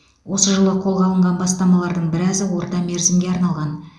осы жылы қолға алынған бастамалардың біразы орта мерзімге арналған